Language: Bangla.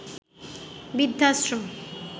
বৃদ্ধাশ্রম